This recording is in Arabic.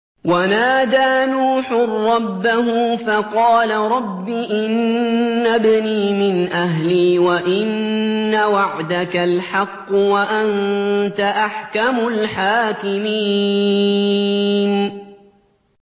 وَنَادَىٰ نُوحٌ رَّبَّهُ فَقَالَ رَبِّ إِنَّ ابْنِي مِنْ أَهْلِي وَإِنَّ وَعْدَكَ الْحَقُّ وَأَنتَ أَحْكَمُ الْحَاكِمِينَ